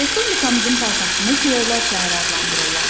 Respublikamızın paytaxtını küləklər şəhəri adlandırırlar.